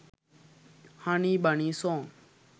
honey bunny song